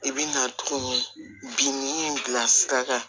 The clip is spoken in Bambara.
I bɛna to binni bila sira kan